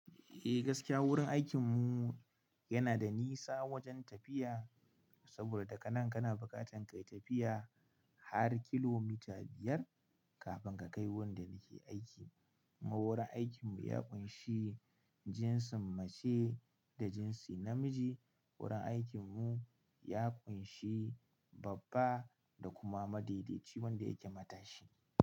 Eh gaskiya wurin aikin mu yana da nisa wajen tafiya, saboda daga nan kana bukatan ka yi tafiya har kilomita biyar kafin ka kai wurinda ni ke aiki. Ko wurin aikin mu ya ƙunshi jinsin mace da jinsi namiji. Wurin aikin mu ya ƙunshi babba da kuma madaidaici wanda yake matashi.